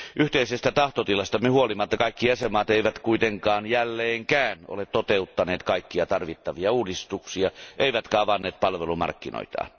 Yhteisestä tahtotilastamme huolimatta kaikki jäsenvaltiot eivät kuitenkaan jälleenkään ole toteuttaneet kaikkia tarvittavia uudistuksia eivätkä avanneet palvelumarkkinoitaan.